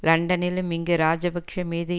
லண்டனிலும் இங்கும் ராஜபக்ச மீது